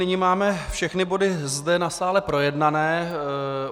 Nyní máme všechny body zde na sále projednané.